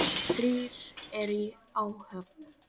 Þrír eru í áhöfn.